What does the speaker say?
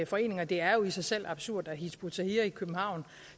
foreninger det er jo i sig selv absurd at hizb ut tahrir i københavn